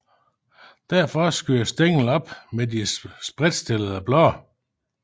Derfra skyder stænglen op med de spredtstillede blade